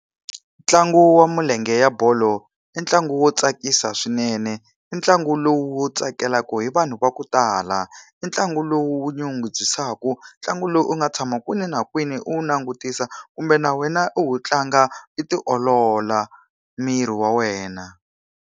Ntlangu wa milenge ya bolo i ntlangu wo tsakisa swinene, i ntlangu lowu wu tsakelaka hi vanhu va ku tala, i ntlangu lowu wu nyungubyisaka. Ntlangu lowu u nga tshama kwini na kwini u wu langutisa kumbe na wena u wu tlanga i tiolola miri wa wena.